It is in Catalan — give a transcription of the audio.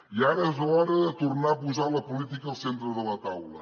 i ara és l’hora de tornar a posar la política al centre de la taula